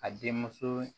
A den muso